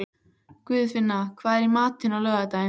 Guðfinna, hvað er í matinn á laugardaginn?